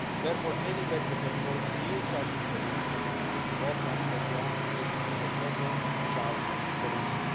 Therefore, any better performing new charging solution would be welcome as long as it is a common charging solution.